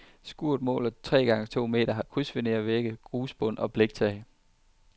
Skuret måler omkring tre gange to meter, har krydsfinervægge, grusbund og et bliktag.